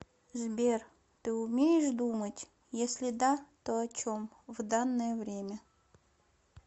сбер ты умеешь думать если да то о чем в данное время